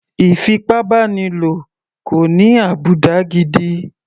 Ìfipábánilo kò ní àbùdá gidi.